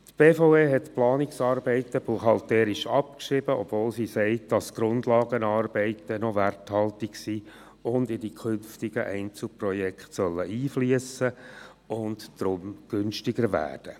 Die BVE hat die Planungsarbeiten buchhalterisch abgeschrieben, obwohl sie sagt, dass die Grundlagenarbeiten noch werthaltig sind, dass sie in die künftigen Einzelprojekte einfliessen sollen und darum günstiger werden.